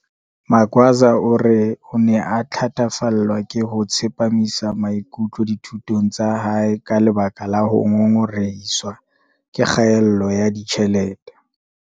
Magwaza o re o ne a thatafallwa ke ho tsepamisa maikutlo dithu tong tsa hae ka lebaka la ho ngongorehiswa ke kgaello ya ditjhelete.